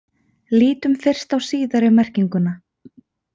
Lítum fyrst á síðari merkinguna.